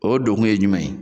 O donkun ye jumɛn ye